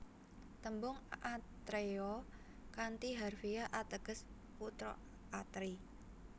Tembung atreya kanthi harfiah ateges putra Atri